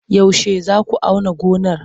Yaushe za ku auna gonar?